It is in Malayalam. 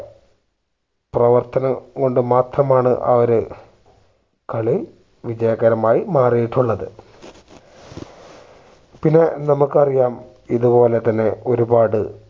പ്രവർത്തനം കൊണ്ട് മാത്രമാണ് ആ ഒരു കളിവിജയകരമായി മാറിയിട്ടുള്ളത് പിന്നെ നമ്മുക്ക് അറിയാം ഇതുപോലെ തന്നെ ഒരുപാട്